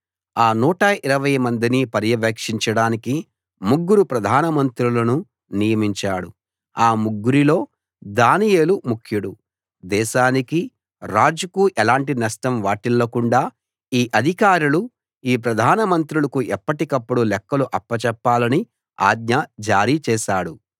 ఆ 120 మందిని పర్యవేక్షించడానికి ముగ్గురు ప్రధానమంత్రులను నియమించాడు ఆ ముగ్గురిలో దానియేలు ముఖ్యుడు దేశానికి రాజుకు ఎలాంటి నష్టం వాటిల్లకుండా ఈ అధికారులు ఈ ప్రధానమంత్రులకు ఎప్పటికప్పుడు లెక్కలు అప్పచెప్పాలని ఆజ్ఞ జారీ చేశాడు